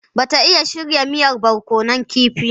Ba ta iya shirya miyar barkonun kifi.